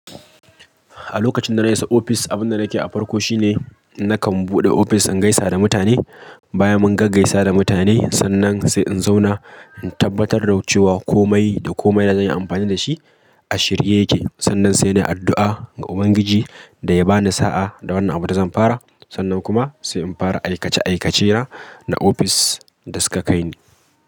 A lokacin da na isa ofis, abun da nake a farko shine nakan buɗe ofis in gaisa da mutane. Baya mun gaggaisa da mutane, sannan sai in zauna in tabbatar da cewa komai da komai da zan yi amfani da shi a shirye yake. Sannan sai ni addu'a ga Ubangiji da ya ba ni sa'a da wannan abun da zan fara. Sannan kuma sai in fara aikace-aikacena na ofis da suka kai ni.